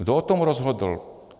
Kdo o tom rozhodl?